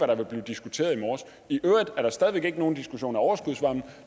der ville blive diskuteret i morges i øvrigt er der stadig væk ikke nogen diskussion om overskudsvarme og